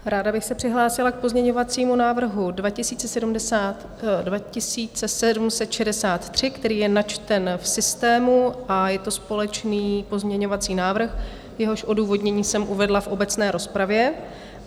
Ráda bych se přihlásila k pozměňovacímu návrhu 2763, který je načten v systému, a je to společný pozměňovací návrh, jehož odůvodnění jsem uvedla v obecné rozpravě.